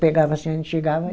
Pegava assim, a gente chegava.